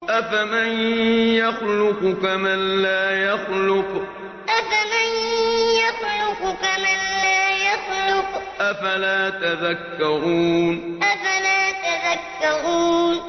أَفَمَن يَخْلُقُ كَمَن لَّا يَخْلُقُ ۗ أَفَلَا تَذَكَّرُونَ أَفَمَن يَخْلُقُ كَمَن لَّا يَخْلُقُ ۗ أَفَلَا تَذَكَّرُونَ